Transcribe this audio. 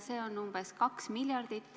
See on umbes 2 miljardit.